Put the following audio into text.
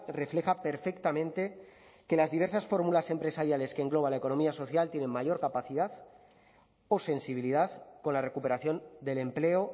refleja perfectamente que las diversas fórmulas empresariales que engloba la economía social tienen mayor capacidad o sensibilidad con la recuperación del empleo